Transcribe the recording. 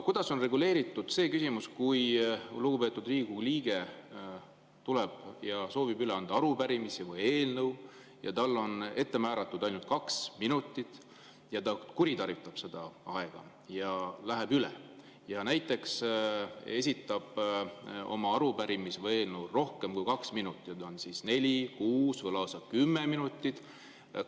Kuidas on reguleeritud see küsimus, et kui lugupeetud Riigikogu liige tuleb ja soovib üle anda arupärimist või eelnõu, talle on ette ainult kaks minutit, aga ta kuritarvitab seda aega ja läheb üle, esitab oma arupärimist või eelnõu kui kaks minutit, näiteks neli, kuus või lausa kümme minutit?